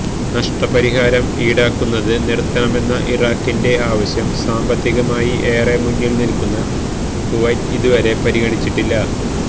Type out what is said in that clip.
നഷ്ടപരിഹാരം ഈടാക്കുന്നത് നിര്ത്തണമെന്ന ഇറാഖിന്റെ ആവശ്യം സാമ്പത്തികമായി ഏറെ മുന്നില് നില്ക്കുന്ന കുവൈറ്റ് ഇതുവരെ പരിഗണിച്ചിട്ടില്ല